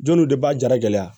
Jɔnniw de b'a jara gɛlɛya